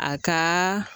A ka